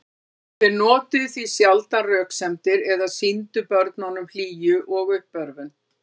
Þeir notuðu því sjaldan röksemdir eða sýndu börnunum hlýju og uppörvun.